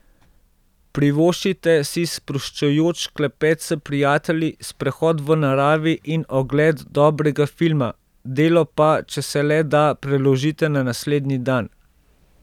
Privoščite si sproščujoč klepet s prijatelji, sprehod v naravi in ogled dobrega filma, delo pa, če se le da, preložite na naslednji dan.